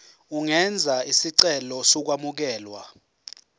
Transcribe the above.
ungenza isicelo sokwamukelwa